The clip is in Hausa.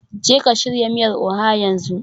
Jeka shirya miyar Oha yanzu